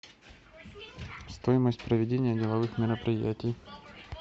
стоимость проведения деловых мероприятий